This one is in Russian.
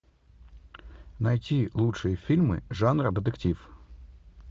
найти лучшие фильмы жанра детектив